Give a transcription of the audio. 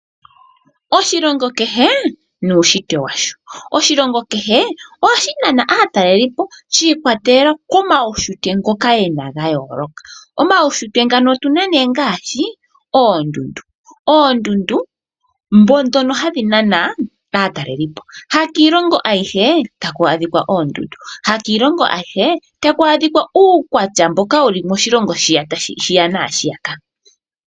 Oshilongo kehe nuunshitwe washo . Oshilongo kehe ohashi nana aatalelipo shiikwatelela komaunshitwe ngoka gayooloka. Omaushitwe ngano ongaashi oondundu, ndhono hadhi nana aatalelipo . Hakiilongo aihe taku adhikwa oondundu. Hakiilongongo aihe haku adhikwa uukwatya shiya naashiyaka.